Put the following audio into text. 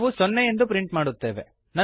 ನಾವು ಸೊನ್ನೆ ಎಂದು ಪ್ರಿಂಟ್ ಮಾಡುತ್ತೇವೆ